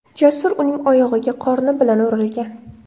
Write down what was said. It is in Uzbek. Jasur uning oyog‘iga qorni bilan urilgan.